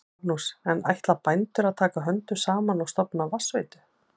Magnús: En ætla bændur að taka höndum saman og stofna vatnsveitu?